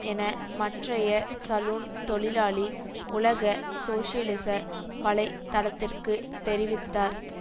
என மற்றைய சலூன் தொழிலாளி உலக சோசியலிச வலை தளத்திற்கு தெரிவித்தார்